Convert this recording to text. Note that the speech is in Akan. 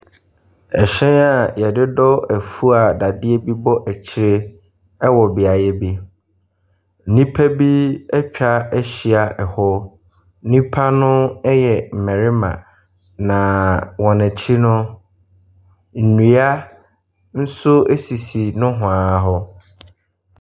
Hyɛn a wɔde dɔ afuo a dadeɛ bi bɔ akyire wɔ beaeɛ bi. Nnipa bi atwa ahyia hɔ. Nnipa no yɛ mmarima, na wɔn akyi no, nnua nso sisi nohoa hɔ.